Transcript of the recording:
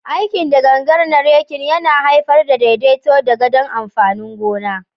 Aikin da gangan na raking, yana haifar da daidaito da gadon amfanin gona.